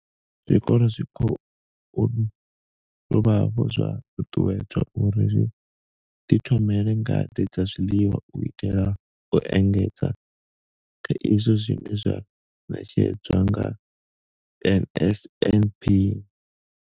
Zwikolo zwi khou dovha hafhu zwa ṱuṱuwedzwa uri zwi ḓithomele ngade dza zwiḽiwa u itela u engedza kha izwo zwine zwa ṋetshedzwa nga NSNP.